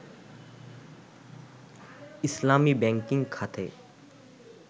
ইসলামী banking খাতে